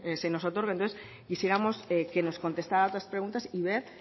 nos otorguen quisiéramos que nos contestara a estas preguntas y ver